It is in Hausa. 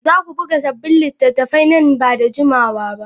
Za ku buga sabbin littattafai nan ba da jimawa ba?